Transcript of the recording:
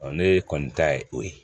ne kɔni ta ye o ye